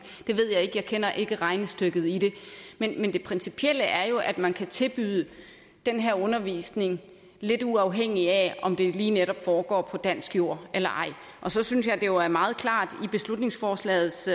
det ved jeg ikke jeg kender ikke regnestykket men det principielle er jo at man kan tilbyde den her undervisning lidt uafhængig af om det lige netop foregår på dansk jord eller ej og så synes jeg at det jo er meget klart i beslutningsforslagets